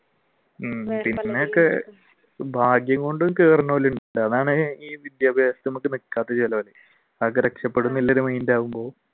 ഭാഗ്യം കൊണ്ട് അതാണ്